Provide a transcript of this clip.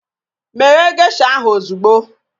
Meghe gesha ahu ozugbo!